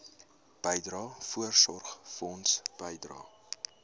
bydrae voorsorgfonds bydrae